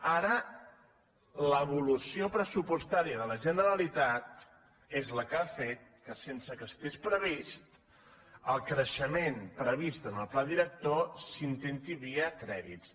ara l’evolució pressupostària de la generalitat és la que ha fet que sense que estigués previst el creixement previst en el pla director s’intenti via crèdits